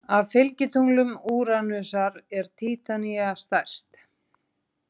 Af fylgitunglum Úranusar er Títanía stærst.